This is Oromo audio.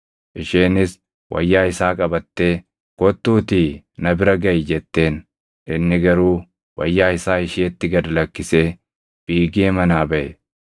Isheenis wayyaa isaa qabattee, “Kottuutii na bira gaʼi!” jetteen. Inni garuu wayyaa isaa isheetti gad lakkisee fiigee manaa baʼe.